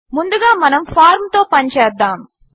ముందుగా మనము ఫార్మ్ తో పని చేద్దాము